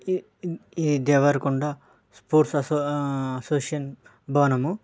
ఇది Devarakonda force association భవనం.